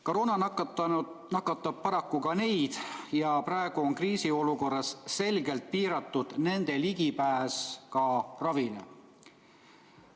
Koroona nakatab paraku ka neid ja praeguses kriisiolukorras on nende ligipääs ravile selgelt piiratud.